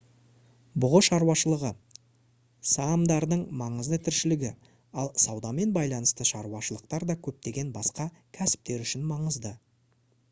бұғы шаруашылығы саамдардың маңызды тіршілігі ал саудамен байланысты шаруашылықтар да көптеген басқа кәсіптер үшін маңызды